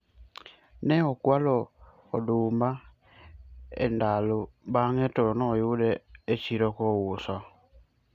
ne okwalo odumba e ndalo bange to ayude e chiro ka ouso